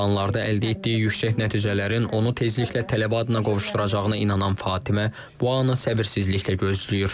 İmtahanlarda əldə etdiyi yüksək nəticələrin onu tezliklə tələbə adına qovuşduracağına inanan Fatimə bu anı səbirsizliklə gözləyir.